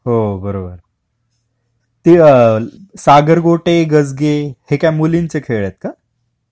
हो बरोबर, ते सागर गोटे गजगे, हे काय मुलींचे खेळ आहेत का?